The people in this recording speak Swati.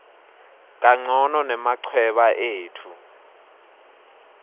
kancono nemachweba etfu